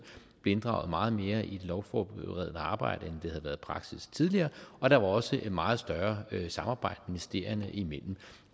blev inddraget meget mere i det lovforberedende arbejde det havde været praksis tidligere og der er også et meget større samarbejde ministerierne imellem